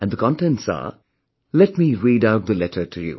And the contents are... Let me read out the letter to you